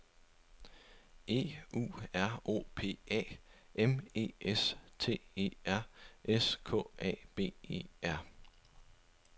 E U R O P A M E S T E R S K A B E R